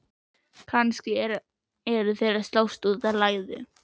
Kannski eru þeir að slást út af læðu?